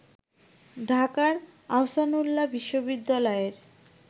ঢাকার আহসানউল্লাহ বিশ্ববিদ্যালয়ের